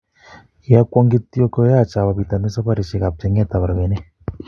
Kiagwong kityok koyach awo pitonin saparishiek ap chenget ap rabinik